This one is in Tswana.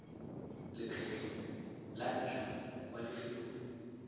lekgetlho la ntlha kwa lefelong